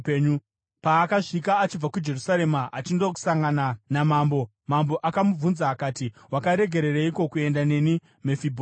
Paakasvika achibva kuJerusarema achindosangana namambo, mambo akamubvunza akati, “Wakaregereiko kuenda neni, Mefibhosheti?”